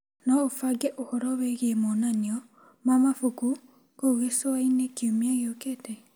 No ũbange ũhoro wĩgiĩ monanio ma mabuku kũu gĩcũa-inĩ kiumia gĩokĩte?